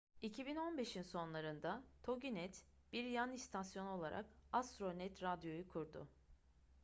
2015'in sonlarında toginet bir yan istasyon olarak astronet radio'yu kurdu